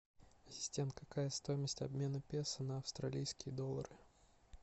ассистент какая стоимость обмена песо на австралийские доллары